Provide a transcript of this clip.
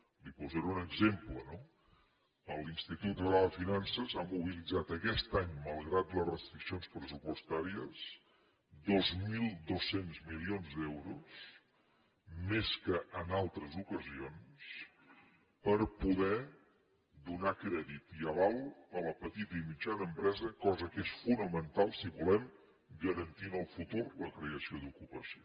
li’n posaré un exemple no l’institut català de finances ha mobilitzat aquest any malgrat les restriccions pressupostàries dos mil dos cents milions d’euros més que en altres ocasions per poder donar crèdit i aval a la petita i mitjana empresa cosa que és fonamental si volem garantir en el futur la creació d’ocupació